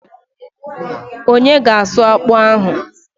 Onye ga asụ akpụ ahụ?